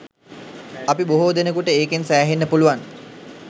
අපි බොහෝ දෙනෙකුට ඒකෙන් සෑහෙන්න පුළුවන්